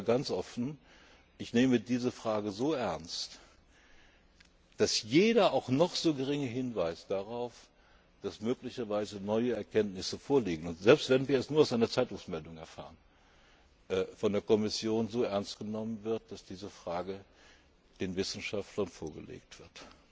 getan. Aber ich sage ganz offen, ich nehme diese Frage so ernst, dass jeder auch noch so geringe Hinweis darauf, dass möglicherweise neue Erkenntnisse vorliegen und selbst, wenn wir es nur aus einer Zeitungsmeldung erfahren von der Kommission so ernst genommen wird, dass diese Frage den Wissenschaftlern vorgelegt